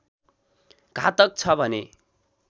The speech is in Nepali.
घातक छ भने